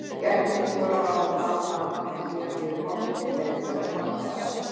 Gestirnir þora varla að tala saman en síðan býður forsetinn gestina velkomna með ræðu.